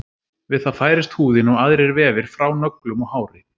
Við það færist húðin og aðrir vefir frá nöglum og hári.